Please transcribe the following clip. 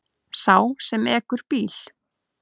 Sá sem ekur bíl.